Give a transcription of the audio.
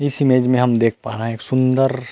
इस इमेज में हम देख पा रहे हैं एक सुंदर --